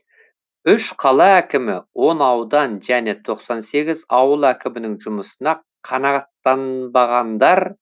үш қала әкімі он аудан және тоқсан сегіз ауыл әкімінің жұмысына қанағаттанбағандар